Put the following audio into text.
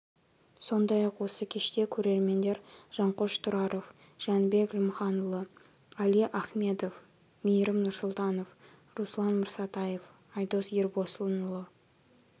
сондай-ақ осы кеште көрермендер жанқош тұраров жнібек лімханұлы али ахмедов мейірім нұрсұлтанов руслан мырсатаев айдос ербосынұлы